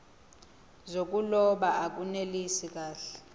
zokuloba akunelisi kahle